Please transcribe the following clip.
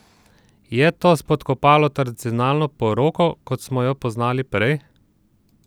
Je to spodkopalo tradicionalno poroko, kot smo jo poznali prej?